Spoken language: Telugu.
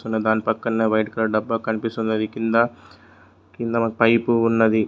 దాని పక్కనే వైట్ కలర్ డబ్బా కనిపిస్తుంది దానికింద పైపు ఉన్నది.